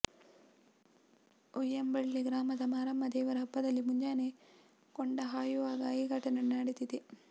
ಉಯ್ಯಂಬಳ್ಳಿ ಗ್ರಾಮದ ಮಾರಮ್ಮ ದೇವರ ಹಬ್ಬದಲ್ಲಿ ಮುಂಜಾನೆ ಕೊಂಡ ಹಾಯುವಾಗ ಈ ಘಟನೆ ನಡೆಸಿದೆ